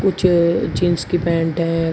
कुछ जींस की पैंट है।